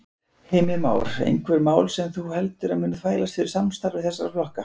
Heimir Már: Einhver mál sem þú heldur að muni þvælast fyrir samstarfi þessara flokka?